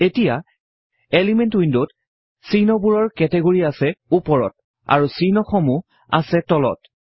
এতিয়া এলিমেন্ট উইন্ডত চিহ্নবোৰৰ কেটেগৰি আছে উপৰত আৰু চিহ্নসমূহ আছে তলত